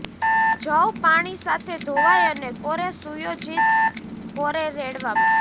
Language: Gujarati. જવ પાણી સાથે ધોવાઇ અને કોરે સુયોજિત કોરે રેડવામાં